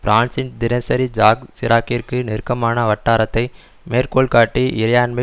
பிரான்சின் தினசரி ஜாக் சிராக்கிற்கு நெருக்கமான வட்டாரத்தை மேற்கோள்காட்டி இறையாண்மை